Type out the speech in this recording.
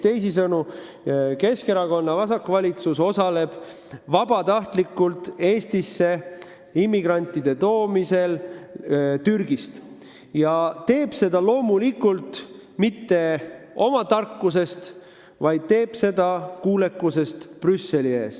Teisisõnu, Keskerakonna juhitav vasakvalitsus osaleb vabatahtlikult immigrantide toomisel Türgist Eestisse ja ta teeb seda loomulikult mitte oma tarkusest, vaid kuulekusest Brüsseli ees.